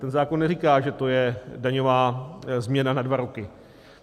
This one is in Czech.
Ten zákon neříká, že to je daňová změna na dva roky.